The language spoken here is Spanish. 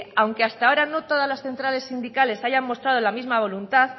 aunque hasta ahora no todas las centrales sindicales hayan mostrado la misma voluntad